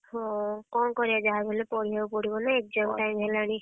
ହଁ କଣ କରିଆ ଯାହା ବି ହେଲେ ପଢିଆ କୁ ପଡିବ ନା exam time ହେଲାଣି।